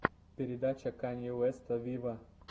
передача канье уэста виво